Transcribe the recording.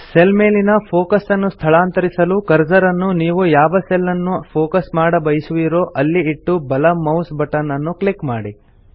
cell ಮೇಲಿನ focus ಅನ್ನು ಸ್ಥಳಾಂತರಿಸಲು ಕರ್ಸರ್ ಅನ್ನು ನೀವು ಯಾವ ಸೆಲ್ ಅನ್ನು ಫೋಕಸ್ ಮಾಡಬಯಸುವಿರೋ ಅಲ್ಲಿ ಇಟ್ಟು ಬಲ ಮೌಸ್ ಬಟನ್ ಅನ್ನು ಕ್ಲಿಕ್ ಮಾಡಿ